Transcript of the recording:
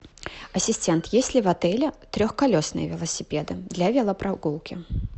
ассистент есть ли в отеле трехколесные велосипеды для велопрогулки